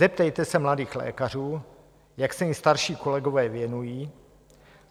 Zeptejte se mladých lékařů, jak se jim starší kolegové věnují.